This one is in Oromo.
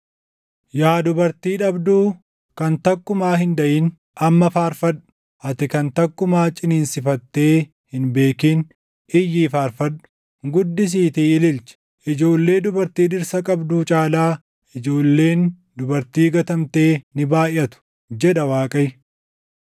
“Yaa dubartii dhabduu, kan takkumaa hin daʼin, amma faarfadhu; ati kan takkumaa ciniinsifattee hin beekin iyyii faarfadhu; guddisiitii ililchi. Ijoollee dubartii dhirsa qabduu caalaa ijoolleen dubartii gatamtee ni baayʼatu” jedha Waaqayyo.